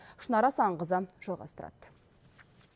шынар асанқызы жалғастырады